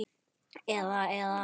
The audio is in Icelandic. Eða, eða.